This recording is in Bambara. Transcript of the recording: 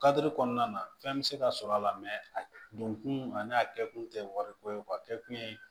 Kadiri kɔnɔna na fɛn bɛ se ka sɔrɔ a la a don kun a n'a kɛ kun tɛ wariko ye a bɛɛ kun ye